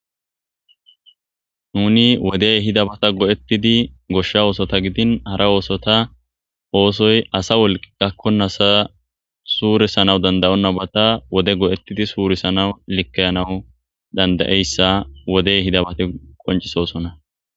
nuni wodey ehidabata go7ettidi goshsha oosota gidin hara oosota oosoy asa wolqi gakkonasa suurisanawu dandayonnabata wode go7ettidi suurisanawu likkayanawu dandayeyssa wodey hidabate qoncisosona